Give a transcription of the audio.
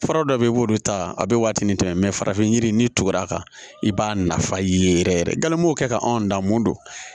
Fura dɔ bɛ yen i b'olu ta a bɛ waati ni tɛmɛ farafin yiri ni tugur'a kan i b'a nafa ye yɛrɛ yɛrɛ ganmɔ kɛ anw da mun don